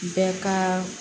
Bɛɛ ka